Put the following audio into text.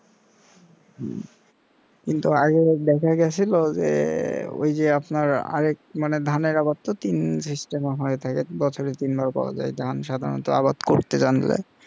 হম কিন্তু আগে দেখা গেছিল যে ওই যে আপনার আরেক মানে ধানের আবার তো তিন system হয়ে থাকে বছরে তিনবার পাওয়া যায় সাধারণত আবাদ করতে জানলে